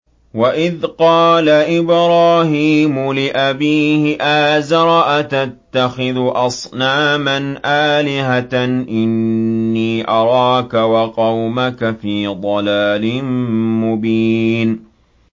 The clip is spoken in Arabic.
۞ وَإِذْ قَالَ إِبْرَاهِيمُ لِأَبِيهِ آزَرَ أَتَتَّخِذُ أَصْنَامًا آلِهَةً ۖ إِنِّي أَرَاكَ وَقَوْمَكَ فِي ضَلَالٍ مُّبِينٍ